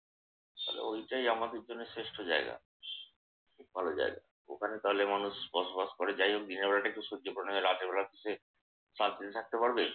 তাইলে ওইটাই আমাদের জন্য শ্রেষ্ঠ জায়গা। ভালো জায়গা। ওখানে তাহলে মানুষ বসবাস করে যাই হোক। দিনের বেলাটা একটু সহ্য করে নিলে রাতের বেলাটা সে শান্তিতে থাকতে পারবে।